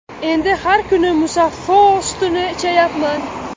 Endi har kuni Musaffo sutini ichayapman”.